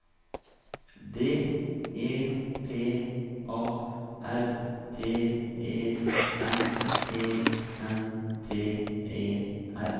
D E P A R T E M E N T E R